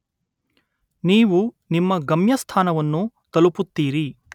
ನೀವು ನಿಮ್ಮ ಗಮ್ಯಸ್ಥಾನವನ್ನು ತಲುಪುತ್ತೀರಿ.